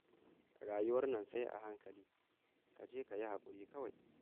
Rayuwar nan sai a hankali, ka je ka yi haƙuri kawai